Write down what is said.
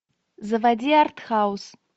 заводи артхаус